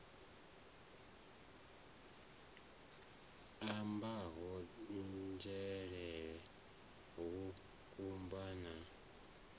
ambiwaho nzhelele ha kutama na